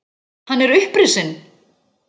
Hann er upprisinn!